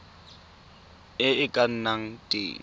e e ka nnang teng